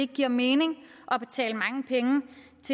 giver mening